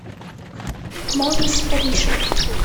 морис ришар